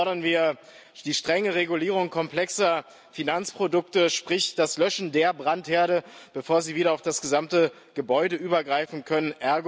Und drittens fordern wir die strenge Regulierung komplexer Finanzprodukte, sprich das Löschen der Brandherde, bevor sie wieder auf das gesamte Gebäude übergreifen können.